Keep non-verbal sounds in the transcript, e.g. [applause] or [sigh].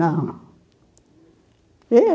Não. [unintelligible]